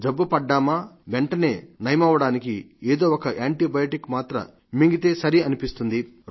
జబ్బు పడ్డామా వెంటనే నయమవడానికి ఏదోఒక యాంటీబయాటికి మాత్ర మింగితే సరి అనిపిస్తుంది